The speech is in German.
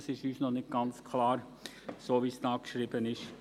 Das ist uns noch nicht ganz klar – so, wie es da geschrieben ist.